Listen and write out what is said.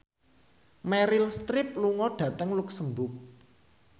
Meryl Streep lunga dhateng luxemburg